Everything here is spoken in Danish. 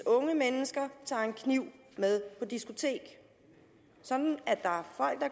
unge mennesker tager en kniv med på diskotek sådan at der